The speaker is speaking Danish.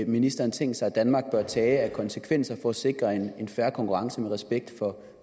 ministeren tænkt sig at danmark bør tage af konsekvenser for at sikre en fair konkurrence med respekt for